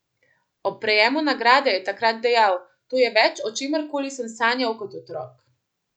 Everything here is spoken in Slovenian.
Ob prejemu nagrade je takrat dejal: "To je več, o čemer koli sem sanjal kot otrok.